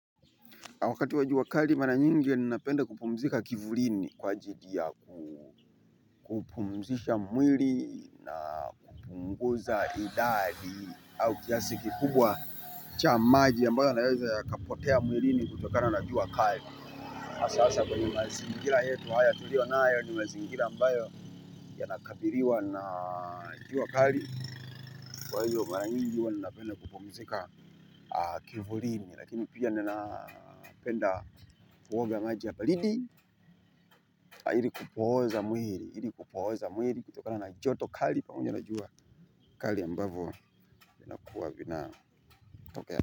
Wakati wa jua kali mara nyingi ninapenda kupumzika kivulini kwa ajili ya kupumzisha mwili, na kupunguza idadi au kiasi kikubwa cha maji ambayo yanaweza yakapotea mwilini kutoka na jua kali. Hasa kwenye mazingira yetu haya tuliyo nayo ni mazingira ambayo yana kabiliwa na jua kali kwa hiyo mimi mara nyingi huwa ni napenda kupumzika kivulini lakini pia ninapenda kuoga maji ya baridi ili kupoza mwili, ili kupoza mwili. Kutokana na joto kali panguja na jua kali ambavo kuwa vina tokea.